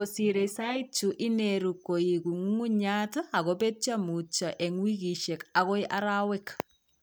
Kosire saait chu ineeru koiku ng'ungunyat akobetyo mutyo eng' wikisiek akao arawek